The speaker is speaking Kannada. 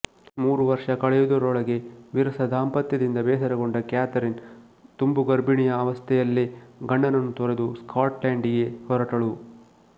ಮೂರು ವರ್ಷ ಕಳೆಯುವುದರೊಳಗೆ ವಿರಸದಾಂಪತ್ಯದಿಂದ ಬೇಸರಗೊಂಡ ಕ್ಯಾತರಿನ್ ತುಂಬುಗರ್ಭಿಣಿಯ ಅವಸ್ಥೆಯಲ್ಲೇ ಗಂಡನನ್ನು ತೊರೆದು ಸ್ಕಾಟ್ಲೆಂಡಿಗೆ ಹೊರಟಳು